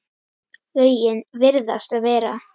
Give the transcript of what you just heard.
Lögin virðast vera